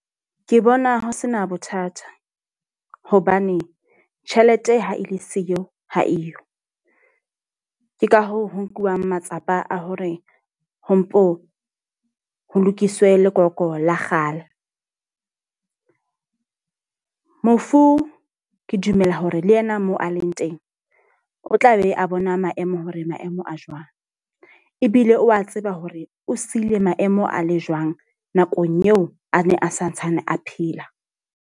Ke bona ho sena bothata. Hobane tjhelete ha e le siyo ha eyo. Ke ka hoo ho nkuwang matsapa a hore ho mpo ho lokiswe lekoko la kgale. Mofu ke dumela hore le yena moo a leng teng, o tla be a bona maemo hore maemo a jwang. Ebile o a tseba hore o sile maemo a le jwang nakong eo a ne a santsane a phela.